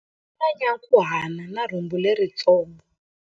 U na nyankhuhana na rhumbu leritsongo.